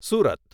Surat